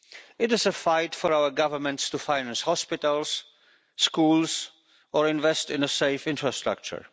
It is a fight for our governments to finance hospitals, schools or invest in a safe infrastructure.